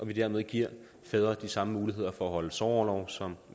vi dermed giver fædre de samme muligheder for at holde sorgorlov som